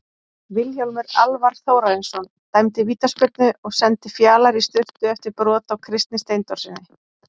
Vilhjálmur Alvar Þórarinsson dæmdi vítaspyrnu og sendi Fjalar í sturtu eftir brot á Kristni Steindórssyni.